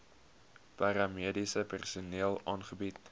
paramediese personeel aangebied